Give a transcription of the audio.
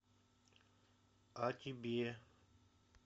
о тебе